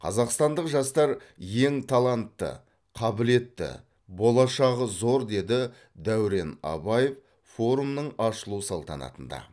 қазақстандық жастар ең талантты қабілетті болашағы зор деді дәурен абаев форумның ашылу салтанатында